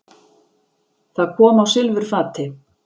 Það kom á silfurfati.